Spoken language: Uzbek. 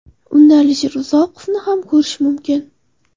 Unda Alisher Uzoqovni ham ko‘rish mumkin.